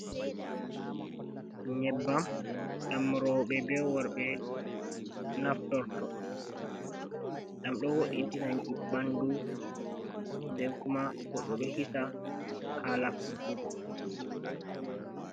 Nyebbam ɗam rooɓe bee worɓe naftorto, ɗam ɗo wo`itina ɓanndu, nden kuma goɗɗo ɗo hisa haala furɗugo.